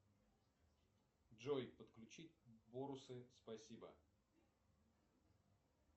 джой подключи бонусы спасибо